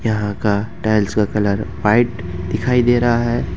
यहां का टाइल्स का कलर व्हाइट दिखाई दे रहा है।